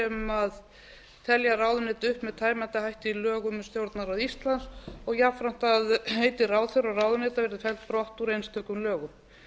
sem telja ráðuneyti með tæmandi hætti í lögum um stjórnarráð íslands og jafnframt að heiti ráðherra og ráðuneyta verði felld brott úr einstökum lögum